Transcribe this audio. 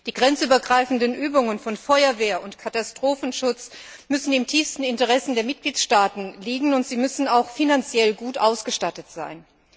Die grenzübergreifenden Übungen von Feuerwehr und Katastrophenschutz müssen im tiefsten Interesse der Mitgliedstaaten liegen und finanziell gut ausgestattet sein.